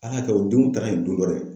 Ala ya kɛ u denw taala yen du kɔnɔ yen.